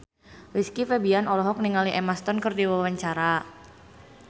Rizky Febian olohok ningali Emma Stone keur diwawancara